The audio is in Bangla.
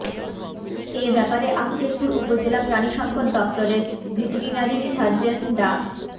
এ ব্যাপারে আক্কেলপুর উপজেলা প্রাণিসম্পদ দপ্তরের ভেটেরিনারি সার্জন ডা